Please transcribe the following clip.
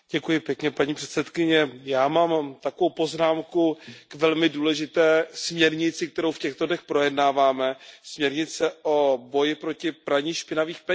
Paní předsedající, já mám takovou poznámku k velmi důležité směrnici, kterou v těchto dnech projednáváme, ke směrnici o boji proti praní špinavých peněz.